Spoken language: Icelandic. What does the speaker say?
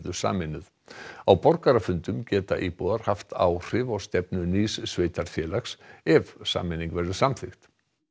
sameinuð á borgarafundum geta íbúar haft áhrif á stefnu nýs sveitarfélags ef sameining verður samþykkt